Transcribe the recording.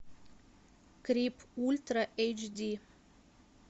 крип ультра эйч ди